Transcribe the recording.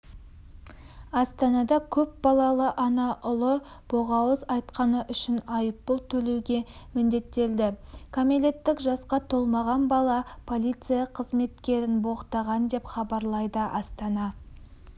астанада көп балалы ана ұлы боғауыз айтқаны үшін айыппұл төлеуге міндеттелді кәмелеттік жасқа толмаған бала полиция қызметкерін боқтаған деп хабарлайды астана